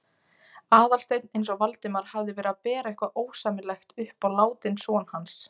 Aðalsteinn eins og Valdimar hefði verið að bera eitthvað ósæmilegt upp á látinn son hans.